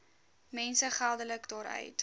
mense geldelik daaruit